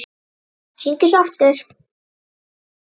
Hringi svo aftur.